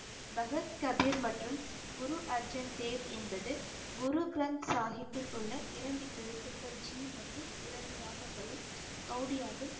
பகத் கபீர் மற்றும் குரு அர்ஜன் தேவ் என்பது குரு கிரந்த சாஹிப்பில் உள்ள இரண்டு எழுத்துக்கள் ஜி மற்றும் இரண்டு ராகங்களும் கவுடியாவில்